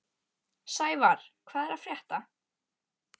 Sævarr, hvað er að frétta?